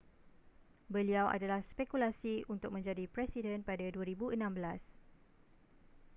beliau adalah spekulasi untuk menjadi presiden pada 2016